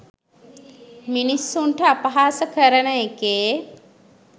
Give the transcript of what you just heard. මිනිස්සුන්ට අපහාස කරන එකේ